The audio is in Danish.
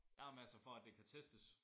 Nej men altså for at det kan testes